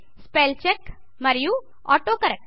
spell check మరియు auto correct